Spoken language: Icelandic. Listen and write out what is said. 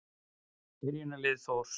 Byrjunarlið Þórs.